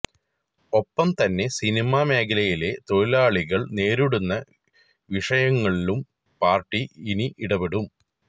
ഒപ്പം തന്നെ സിനിമാ മേഖലയിലെ തൊഴിലാളികള് നേരിടുന്ന വിഷയങ്ങളിലും പാര്ട്ടി ഇനി ഇടപെടും